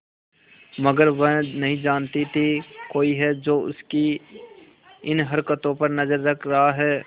मगर वह नहीं जानती थी कोई है जो उसकी इन हरकतों पर नजर रख रहा है